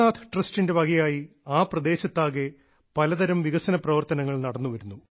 സോമനാഥ് ട്രസ്റ്റിന്റെ വകയായി ആ പ്രദേശത്താകെ പലതരം വികസന പ്രവർത്തനങ്ങൾ നടന്നുവരുന്നു